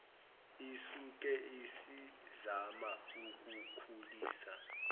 isuke isizama ukukhulisa